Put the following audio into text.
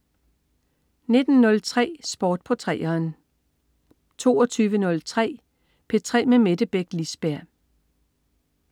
19.03 Sport på 3'eren 22.03 P3 med Mette Beck Lisberg